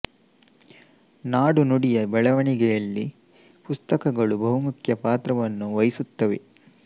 ನಾಡು ನುಡಿ ಯ ಬೆಳವಣಿಗೆಯಲ್ಲಿ ಪುಸ್ತಕಗಳು ಬಹುಮುಖ್ಯ ಪಾತ್ರವನ್ನು ವಹಿಸುತ್ತವೆ